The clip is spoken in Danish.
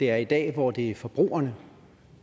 er i dag hvor det er forbrugerne